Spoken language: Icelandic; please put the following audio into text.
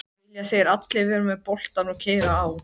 Vilja þeir allir vera með boltann og keyra á?